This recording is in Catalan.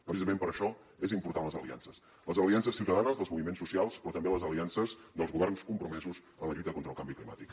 precisament per això són importants les aliances les aliances ciutadanes dels moviments socials però també les aliances dels governs compromesos en la lluita contra el canvi climàtic